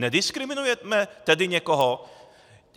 Nediskriminujeme tedy někoho?